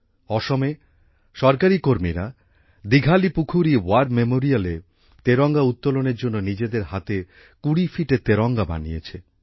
অসমে সরকারি কর্মীরা দিঘালীপুখুরী ওয়ার Memorialএ তেরঙ্গা উত্তোলনের জন্য নিজেদের হাতে কুড়ি ফিটের তেরঙ্গা বানিয়েছে